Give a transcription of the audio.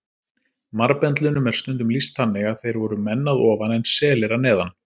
Marbendlunum er stundum lýst þannig að þeir voru menn að ofan en selir að neðan.